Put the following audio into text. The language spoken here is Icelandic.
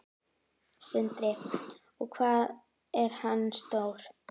Sindri: Og hvað er hann stór?